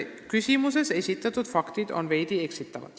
" Küsimuses esitatud faktid on veidi eksitavad.